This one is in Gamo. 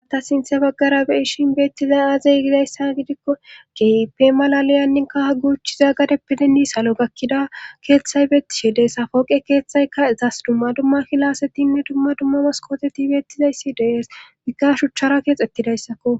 Aata sinthe baggara bei shin beettizay aazeygidayssa gidikko kepe malaliyanninka ha guuchchiza gadeppidennii salo gakkida keeththay beetti shide safooqe keeththayka ezas dumma dumma kilasetinne dumma dumma maskoteti beettizayssi dees bigga shuchchara keexettidayssakko